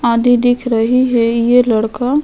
आधी दिख रही है ये लड़का --